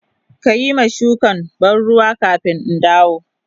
Ka yi ma shukan ban ruwa kafin in dawo.